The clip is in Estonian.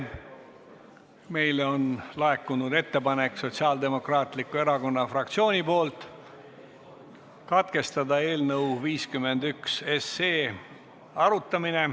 Meile on laekunud ettepanek Sotsiaaldemokraatliku Erakonna fraktsioonilt katkestada eelnõu 51 arutamine.